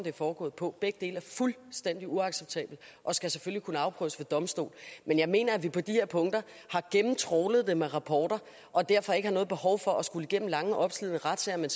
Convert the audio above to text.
er foregået på begge dele er fuldstændig uacceptable og skal selvfølgelig kunne afprøves ved en domstol men jeg mener at vi på de her punkter har gennemtrawlet det med rapporter og derfor ikke har noget behov for at skulle igennem lange opslidende retssager men